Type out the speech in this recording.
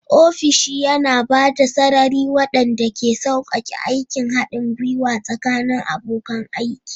Ofishi yana ba da sarari waɗanda ke sauƙaƙe aikin haɗin gwiwa tsakanin abokan aiki.